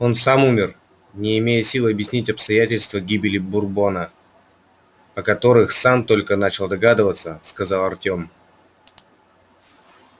он сам умер не имея сил объяснять обстоятельства гибели бурбона о которых сам только начал догадываться сказал артем